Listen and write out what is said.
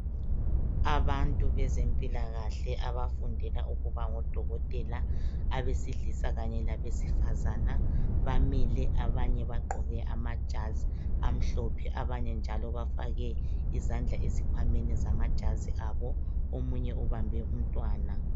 Abantu bezempilakahle abafundela ukuba ngodokotela, abesilisa kanye labesifazana bamile abanye bagqoke amajazi amhlophe abanye njalo bafake izandla ezikhwameni zamajazi abo, omunye ubambe umntwana.